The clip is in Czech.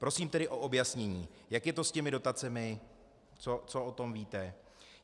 Prosím tedy o objasnění, jak je to s těmi dotacemi, co o tom víte.